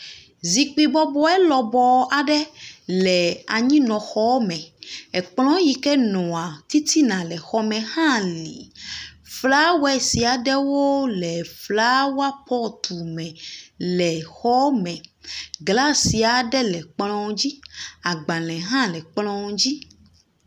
Zikpi bɔbɔe lɔbɔɔ aɖe le anyinɔxeme. Ekplɔ̃ yi ke nɔa titina le xɔme hã li. Flawɛsi aɖewo le flawa pɔtume le xɔme. Glasi aɖe le kplɔ̃ dzi. Agbalẽ hã le kplɔ̃ dzi